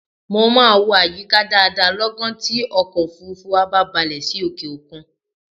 Mo máa wo àyíká dáadáa lọ́gán tí ọkọ̀ òfuurufú wa bá balẹ̀ sí òkè-òkun